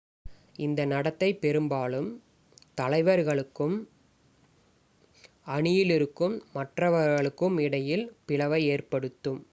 இந்த நடத்தை பெரும்பாலும் தலைவர்களுக்கும் அணியில் இருக்கும் மற்றவர்களுக்கும் இடையில் பிளவை ஏற்படுத்தும்